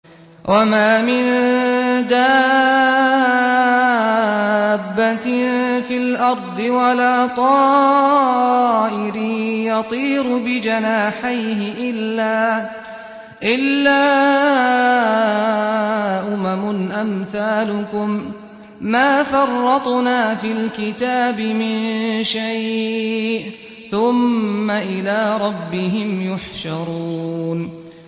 وَمَا مِن دَابَّةٍ فِي الْأَرْضِ وَلَا طَائِرٍ يَطِيرُ بِجَنَاحَيْهِ إِلَّا أُمَمٌ أَمْثَالُكُم ۚ مَّا فَرَّطْنَا فِي الْكِتَابِ مِن شَيْءٍ ۚ ثُمَّ إِلَىٰ رَبِّهِمْ يُحْشَرُونَ